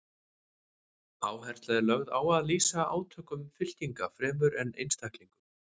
Áhersla er lögð á að lýsa átökum fylkinga fremur en einstaklingum.